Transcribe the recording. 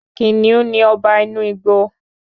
Kìnìún ni Ọba inú igbo